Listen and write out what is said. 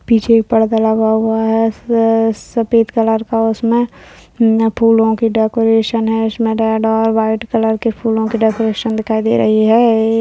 पीछे एक पर्दा लगा हुआ है स-सफेद कलर का उसमे फूलों की डेकोरेशन है इसमे रेड और व्हाइट कलर की फूलों की डेकोरेशन दिखाई दे रही है।